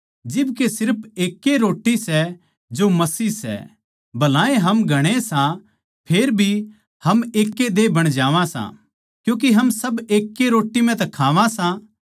जिब के सिर्फ एकैए रोट्टी सै जो मसीह सै भलाए हम घणे सां फेर भी हम एक देह बण जावां सां क्यूँके हम सब एक रोट्टी म्ह तै ए खावां सां